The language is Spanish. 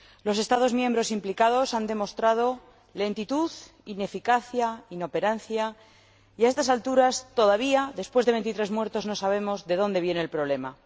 Los Estados miembros implicados han demostrado lentitud, ineficacia, inoperancia y, a estas alturas, todavía, después de veintitrés muertos, no sabemos de dónde viene el problema.